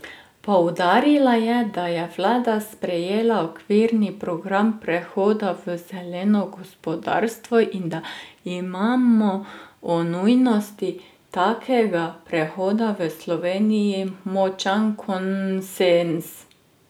Poudarila je, da je vlada sprejela okvirni program prehoda v zeleno gospodarstvo in da imamo o nujnosti takega prehoda v Sloveniji močan konsenz.